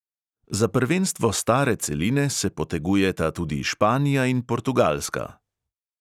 Za prvenstvo stare celine se potegujeta tudi španija in portugalska.